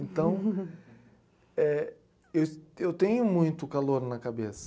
Então, é , eu, eu tenho muito calor na cabeça.